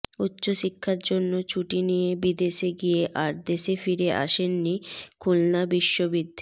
উচ্চশিক্ষার জন্য ছুটি নিয়ে বিদেশে গিয়ে আর দেশে ফিরে আসেননি খুলনা বিশ্ববিদ